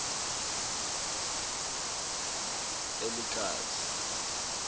elekazi